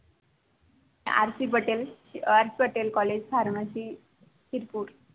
RP Patel RP Patel COLLEGE PHARMACY Tripura